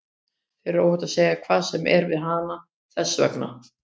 Þér er óhætt að segja hvað sem er við hana, þess vegna.